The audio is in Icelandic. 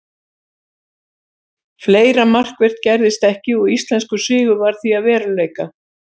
Fleira markvert gerðist ekki og íslenskur sigur varð því að veruleika.